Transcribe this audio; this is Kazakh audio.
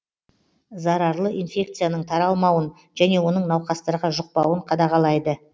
зарарлы инфекцияның таралмауын және оның науқастарға жұқпауын қадағалайды